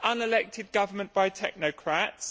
Unelected government by technocrats?